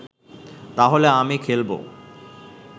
তাহলে আমি খেলবো